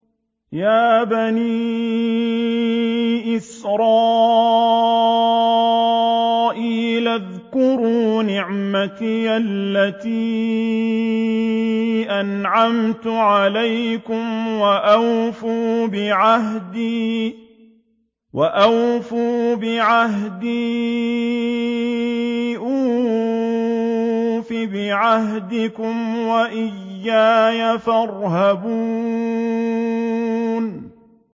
يَا بَنِي إِسْرَائِيلَ اذْكُرُوا نِعْمَتِيَ الَّتِي أَنْعَمْتُ عَلَيْكُمْ وَأَوْفُوا بِعَهْدِي أُوفِ بِعَهْدِكُمْ وَإِيَّايَ فَارْهَبُونِ